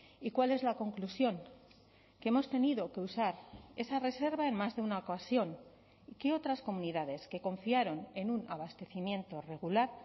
y cuál es la conclusión que hemos tenido que usar esa reserva en más de una ocasión que otras comunidades que confiaron en un abastecimiento regular